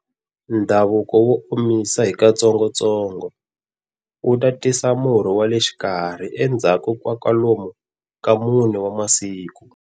Ndhavuko wa omisa hi katsongotsongo wu ta tisa murhi wa le xikarhi endzhaku ka kwalomu ka mune wa masiku.